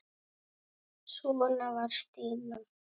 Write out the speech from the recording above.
Svona var Stína.